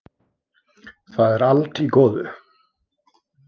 Það er allt í góðu.